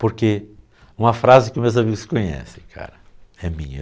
Porque uma frase que meus amigos conhecem, cara, é minha.